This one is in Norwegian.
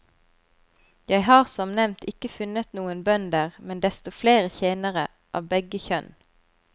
Jeg har som nevnt ikke funnet noen bønder, men desto flere tjenere, av begge kjønn.